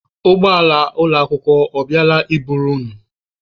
Ụgbọala ụlọakwụkwọ ọ bịala i buru unu?